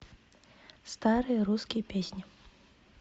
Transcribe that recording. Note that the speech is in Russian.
старые русские песни